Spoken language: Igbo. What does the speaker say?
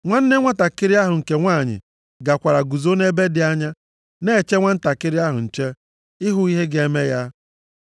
Nwanne nwantakịrị ahụ, nke nwanyị, gakwara guzo nʼebe dị anya na-eche nwantakịrị ahụ nche, ịhụ ihe ga-eme ya.